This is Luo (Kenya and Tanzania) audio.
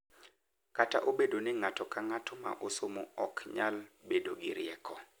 Kata obedo ni ng’ato ka ng’ato ma osomo ok nyal bedo gi rieko.